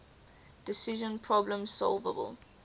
decision problems solvable